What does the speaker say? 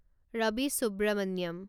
Rabi Subramanian